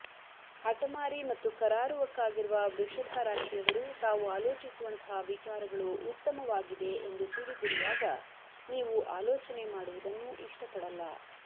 ಹಠಮಾರಿ ಮತ್ತು ಕರಾರುವಕ್ಕಾಗಿರುವ ವೃಷಭ ರಾಶಿಯವರು ತಾವು ಆಲೋಚಿಸುವಂತಹ ವಿಚಾರಗಳು ಉತ್ತಮವಾಗಿದೆ ಎಂದು ತಿಳಿದಿರುವಾಗ ನೀವು ಆಲೋಚನೆ ಮಾಡುವುದನ್ನು ಇಷ್ಟಪಡಲ್ಲ